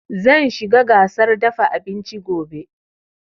Zan shiga gasar dafa abinci gobe